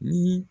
Ni